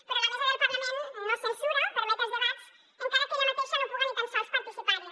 però la mesa del parlament no censura permet els debats encara que ella mateixa no puga ni tan sols participar hi